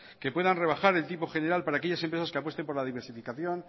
que puedan rebajar el tipo general para aquella empresas que apuesten por la diversificación